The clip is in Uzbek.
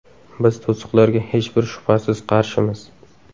Biz to‘siqlarga hech bir shubhasiz qarshimiz.